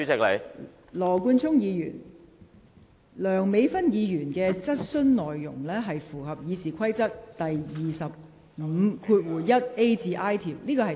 羅冠聰議員，梁美芬議員的質詢內容符合《議事規則》第25條1款 a 至 i 段的規定。